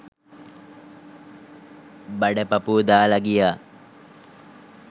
බඩ පපුව දාලා ගියා